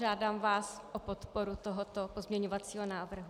Žádám vás o podporu tohoto pozměňovacího návrhu.